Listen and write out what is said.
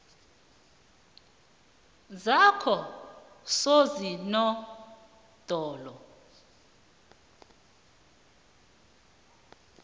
zakososinodolo